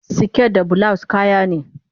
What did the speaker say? siket da bulawus kayane